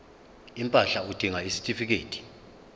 impahla udinga isitifikedi